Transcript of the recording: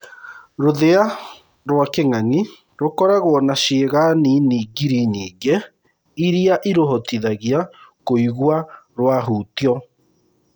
Rũthia rwa kĩng’ang’i rũkoragwo na ciĩga nini ngiri nyingĩ iria irũhotithagia kũigua rwahutio.